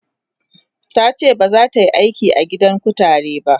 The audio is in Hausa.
tace bazata Yi aiki a gidan kutare ba